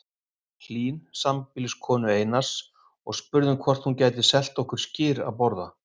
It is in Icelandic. Hlín, sambýliskonu Einars, og spurðum hvort hún gæti selt okkur skyr að borða.